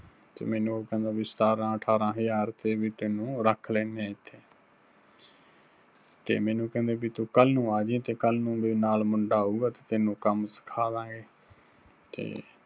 ਤੇ ਮੈਨੂੰ ਉਹ ਕਹਿੰਦਾ ਬੀ ਸਤਾਰਾਂ ਅਠਾਰਾਂ ਹਜ਼ਾਰ ਤੇ ਵੀ ਤੈਨੂੰ ਰੱਖ ਲੈਨੇ ਆਂ ਇੱਥੇ। ਤੇ ਮੈਨੂੰ ਕਹਿੰਦੇ ਬੀ ਤੂੰ ਕੱਲ ਨੂੰ ਆਜੀਂ, ਤੇ ਕੱਲ ਨੂੰ ਨਾਲ ਮੁੰਡਾ ਆਊਗਾ ਤੇ ਤੈਨੂੰ ਕੰਮ ਸਿੱਖਾਦਾਂਗੇ। ਤੇ